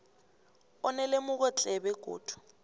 onelemuko tle begodu